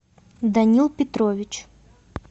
данил петрович